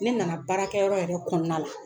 Ne nana baarakɛyɔrɔ yɛrɛ kɔnɔna la.